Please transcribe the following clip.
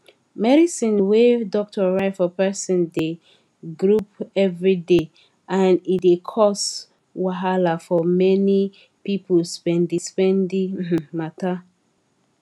medicine wey doctor write for person dey goup everyday and e dey cos wahala for many people spendispendi um matter